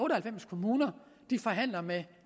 og halvfems kommuner forhandler med